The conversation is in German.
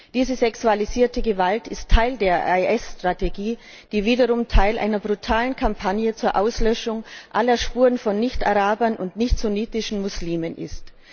Diese sexualisierte Gewalt ist Teil der IS Strategie, die wiederum Teil einer brutalen Kampagne zur Auslöschung aller Spuren von Nicht Arabern und nicht sunnitischen Muslimen ist.